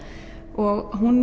og hún